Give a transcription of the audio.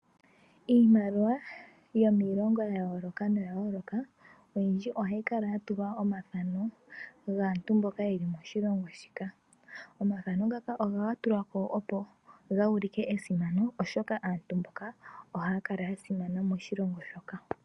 Iimaliwa yomiilongo yayooloka noyayooloka oyindji ohayi kala yatulwa omathano gaantu mboka yeli moshilongo shika. Omathano ngoka ohaga tulwako opo ga ulike esimano , oshoka aantu mboka ohaya kala yasimana moshilongo moka.